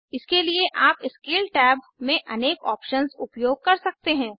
इसके लिए आप स्केल टैब में अनेक ऑप्शन्स उपयोग कर सकते हैं